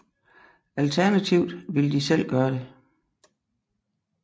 Alternativt ville de selv gøre det